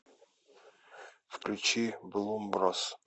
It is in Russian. включи блумброс